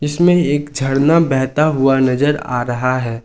इसमें एक झरना बहता हुआ नजर आ रहा है।